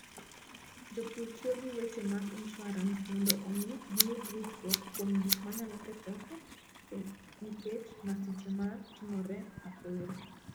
Jopur tiyo gi weche mag insuarans mondo omi giyud ritruok kuom gik ma nyalo kethore nikech masiche ma timore apoya.